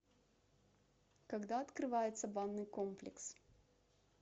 когда открывается банный комплекс